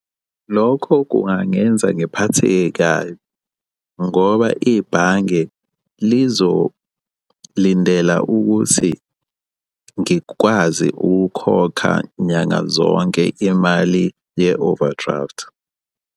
Lokho kungangenza ngiphatheke kabi, ngoba ibhange lizolindela ukuthi ngikwazi ukukhokha nyanga zonke imali ye-overdraft.